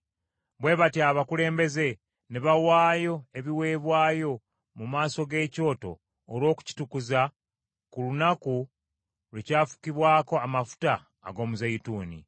Bwe batyo abakulembeze ne bawaayo ebiweebwayo mu maaso g’ekyoto olw’okukitukuza, ku lunaku lwe kyafukibwako amafuta ag’omuzeeyituuni.